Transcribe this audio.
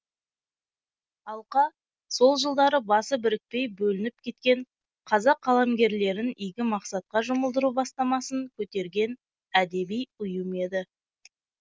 алқа сол жылдары басы бірікпей бөлініп кеткен қазақ қаламгерлерін игі мақсатқа жұмылдыру бастамасын көтерген әдеби ұйым еді